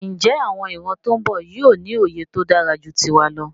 Njé àwon ìran tón bò yío ní òye tódáraju tiwa lọ?